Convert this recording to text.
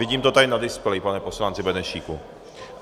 Vidím to tady na displeji, pane poslanče Benešíku.